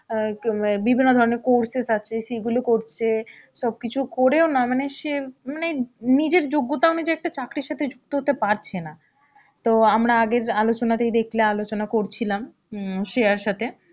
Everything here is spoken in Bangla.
অ্যাঁ কী মে বিভিন্ন ধরনের courses আছে, সেইগুলো করছে, সব কিছু করেও না মানে সে মানে নিজের যোগ্যতা অনুযায়ী একটা চাকরির সাথে যুক্ত হতে পারছে না. তো আমরা আগের আলোচনাতেই দেখলে আলোচনা করছিলাম উম শ্রেয়ার সাথে,